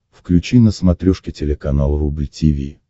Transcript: включи на смотрешке телеканал рубль ти ви